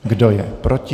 Kdo je proti?